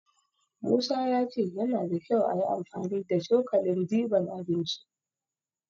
Musa ya ce yana da kyau ayi amfani da cokalin diban abinci.